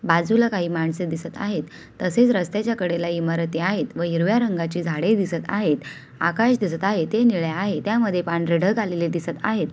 बाजूला काही माणसे दिसत आहेत. तसेच रस्त्याच्या कडेला इमारती आहेत व हिरव्या रंगाची झाडे दिसत आहेत. आकाश दिसत आहे. ते निळे आहे. त्यामध्ये पांढरे ढग आलेले दिसत आहेत.